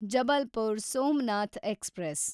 Jabalpur Somnath express